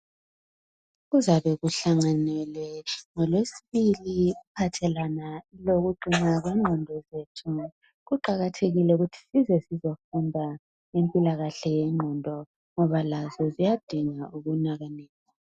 Kuzabe kuhlanganelwe ngolwesibili kuphathelwana lokuqina kwenqondo zethu kuqakathekile ukuthi sizofunda ngempilakahle yenqondo ngoba lazo ziyadinga ukunakekelwa